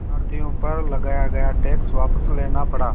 भारतीयों पर लगाया गया टैक्स वापस लेना पड़ा